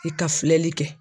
I ka filɛli kɛ.